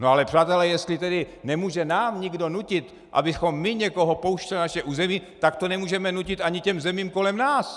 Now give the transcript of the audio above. No ale přátelé, jestli tedy nemůže nám nikdo nutit, abychom my někoho pouštěli na naše území, tak to nemůžeme nutit ani těm zemím kolem nás!